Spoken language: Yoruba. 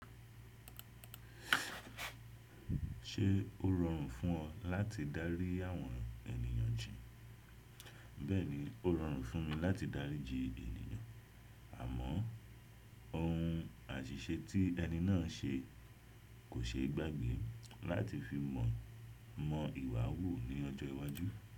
Ṣé ó rọrùn fún ọ láti dárí àwọn ènìyàn bi? Bẹ́ẹ̀ni, ó rọrùn fún mi láti dáríji ènìyàn, àmọ́ ohun àṣìṣe tí ẹni náà se kò ṣe gbágbe láti fi mọ̀ mọ ìwà wò ní ọjọ́ iwájú.